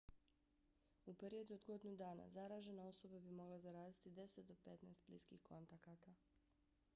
u periodu od godinu dana zaražena osoba bi mogla zaraziti 10 do 15 bliskih kontakata